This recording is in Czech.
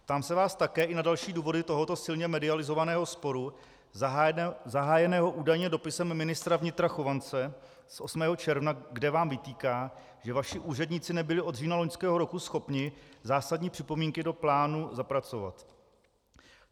Ptám se vás také i na další důvody tohoto silně medializovaného sporu zahájeného údajně dopisem ministra vnitra Chovance z 8. června, kde vám vytýká, že vaši úředníci nebyli od října loňského roku schopni zásadní připomínky do plánu zapracovat.